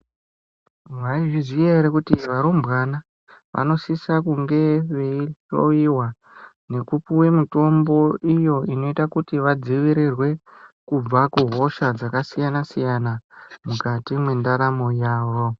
Mai zviziya ere kuti varumbwana vanosisa kunge veihloyiwa ngekupuwe mitombo iyo inoita kuti vadzivirirwe kubva kuhosha dzakasiyana siyana mukati mwentaramo yawo.